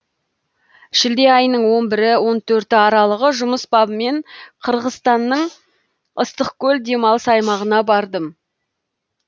шілде айының он бірі он төрті аралығы жұмыс бабымен қырғызстанның ыстықкөл демалыс аймағына бардым